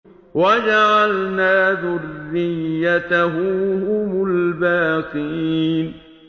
وَجَعَلْنَا ذُرِّيَّتَهُ هُمُ الْبَاقِينَ